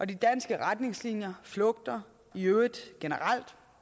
de danske retningslinjer flugter i øvrigt generelt